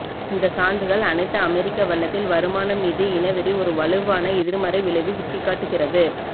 இந்த சான்றுகள் அனைத்து அமெரிக்க வண்ணத்தில் வருமானம் மீது இனவெறி ஒரு வலுவான எதிர்மறை விளைவு சுட்டிக்காட்டுகிறது